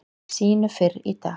sínu fyrr í dag.